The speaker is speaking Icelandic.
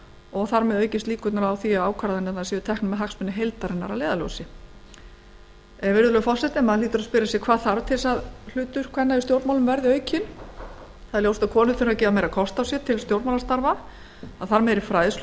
og þar með aukast líkurnar á að ákvarðanir séu teknar með hagsmuni heildarinnar að leiðarljósi maður hlýtur að spyrja sig hvað þarf til þess að hlutur kvenna í stjórnmálum verði aukinn það er ljóst að konur þurfa að gefa meira kost á sér til stjórnmálastarfa það þarf meiri fræðslu